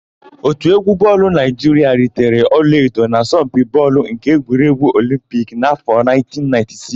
Òtù égwú bọọlụ Naịjiria ritere ọlaedo n'asọmpi bọọlụ nke egwuregwu Olimpiki n'áfọ̀ 1996.